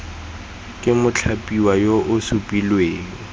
ke mothapiwa yo o supilweng